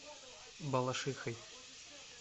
балашихой